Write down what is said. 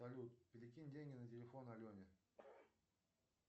салют перекинь деньги на телефон алене